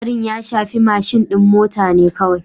Hatsarin ya shafi mashin din mota ne kawai